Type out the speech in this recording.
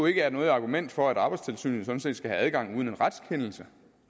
ikke er noget argument for at arbejdstilsynet skal have adgang uden en retskendelse